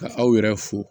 Ka aw yɛrɛ fo